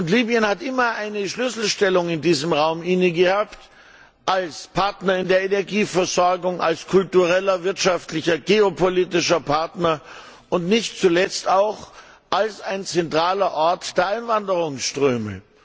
Libyen hat immer eine Schlüsselstellung in diesem Raum innegehabt als Partner in der Energieversorgung, als kultureller, wirtschaftlicher, geopolitischer Partner und nicht zuletzt auch als ein zentraler Ort der Einwanderungsströme.